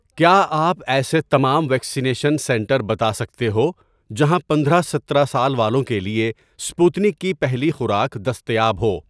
کیا آپ ایسے تمام ویکسینیشن سنٹر بتا سکتے ہو جہاں پندرہ سترہ سال والوں کے لیے سپوتنک کی پہلی خوراک دستیاب ہو